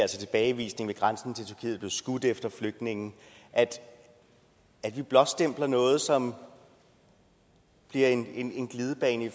tilbagevisning ved grænsen til blevet skudt efter flygtninge altså at vi blåstempler noget som bliver en en glidebane